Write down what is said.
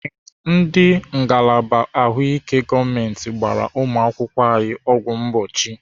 Ee, ndị ngalaba ahụike gọọmenti gbara ụmụakwụkwọ anyị ọgwụ mgbochi.